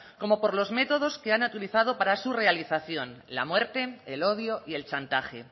como por los métodos que han utilizado para su realización la muerte el odio y el chantaje